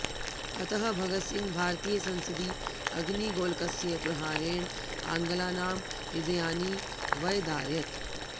अतः भगत सिंह भारतीयसंसदि अग्निगोलकस्य प्रहारेण आङ्ग्लानां हृदयानि व्यदारयत्